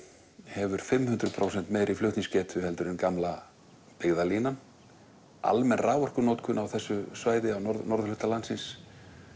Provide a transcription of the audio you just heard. hefur fimm hundruð prósentum meiri flutningsgetu heldur en gamla byggðalínan almenn raforkunotkun á þessu svæði á norðurhluta landsins